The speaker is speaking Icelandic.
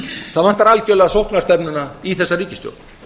það vantar algjörlega sóknarstefnuna í þessa ríkisstjórn